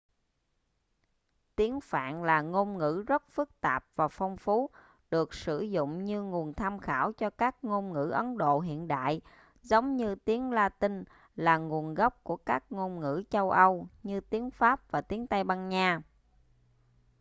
tiếng phạn là ngôn ngữ rất phức tạp và phong phú được sử dụng như nguồn tham khảo cho các ngôn ngữ ấn độ hiện đại giống như tiếng latinh là nguồn gốc của các ngôn ngữ châu âu như tiếng pháp và tiếng tây ban nha